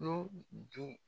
nun dun